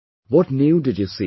What new did you see